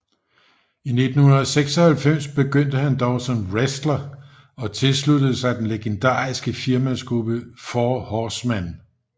I 1996 begyndte han dog som wrestler og tilsluttede sig den legendarisk firmandsgruppe IV Horsemen